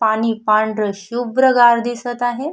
पाणी पांढर शुभ्र गार दिसत आहे.